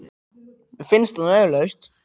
Mér finnst það nú svo augljóst.